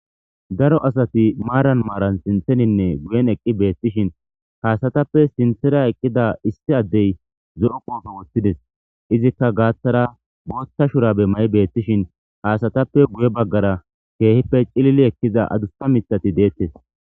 daro asati maaran maaran sintheninne guyen eqqi beettishin kaasatappe sintera eqqida issi addey zo7o qoofe woththides izikka gaaththara booththa shurabe mayi beettishin ha asatappe guye baggara keehippe cilili ekkiza adussa mithati deettes.